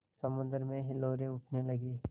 समुद्र में हिलोरें उठने लगीं